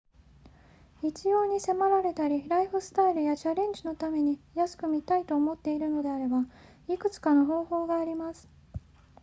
必要に迫られたりライフスタイルやチャレンジのために安く見たいと思っているのであればいくつかの方法があります